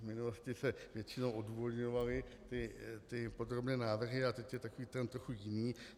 V minulosti se většinou odůvodňovaly ty podrobné návrhy a teď je takový trend trochu jiný.